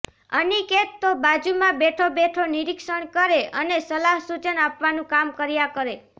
અનિકેત તો બાજુમાં બેઠો બેઠો નિરીક્ષણ કરે અને સલાહ સૂચન આપવાનું કામ કર્યા કરે